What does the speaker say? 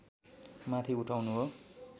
माथि उठाउनु हो